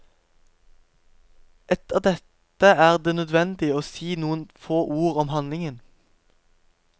Etter dette er det nødvendig å si noen få ord om handlingen.